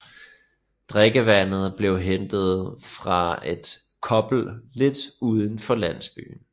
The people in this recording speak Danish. Drikkevandet blev hentet fra et kobbel lidt uden for landsbyen